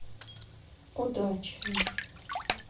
удачный